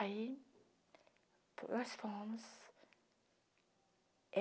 Aí, nós fomos.